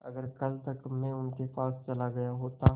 अगर कल तक में उनके पास चला गया होता